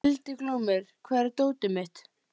Hildiglúmur, hvar er dótið mitt?